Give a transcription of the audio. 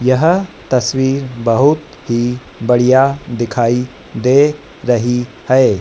यह तस्वीर बहुत ही बढ़िया दिखाई दे रही हैं।